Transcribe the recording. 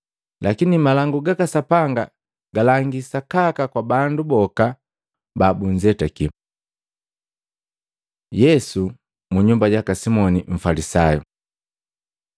Lakini malangu gaka Sapanga galangi sakaka kwa bandu boka babunzetaki.” Yesu munyumba jaka Simoni mfalisayu